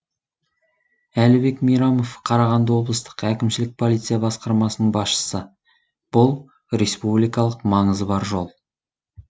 әлібек мейрамов қарағанды облыстық әкімшілік полиция басқармасының басшысы бұл республикалық маңызы бар жол